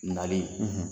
Nali